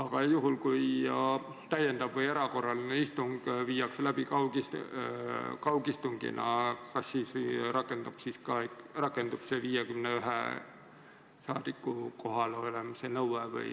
Kas juhul, kui täiendav või erakorraline istung toimub kaugistungina, rakendub ka 51 rahvasaadiku kohalolemise nõue?